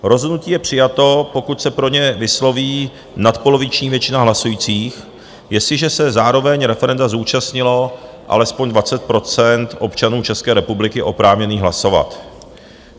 Rozhodnutí je přijato, pokud se pro ně vysloví nadpoloviční většina hlasujících, jestliže se zároveň referenda zúčastnilo alespoň 20 % občanů České republiky oprávněných hlasovat.